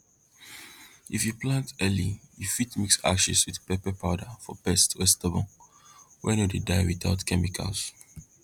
if you plant early you fit mix ashes with pepper powder for pests wey stubborn wey no dey die without chemicals